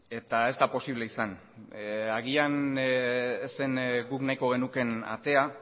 eta ez da posible izan agian ez zen guk nahiko genukeen atea